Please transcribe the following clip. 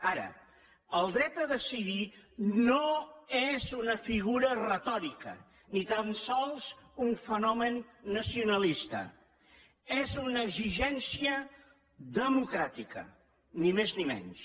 ara el dret a decidir no és una figura retòrica ni tan sols un fenomen nacionalista és una exigència democràtica ni més ni menys